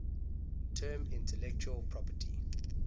term intellectual property